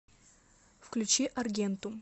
включи аргентум